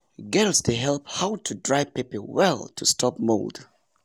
girls dey learn how to dry pepper well to stop mold.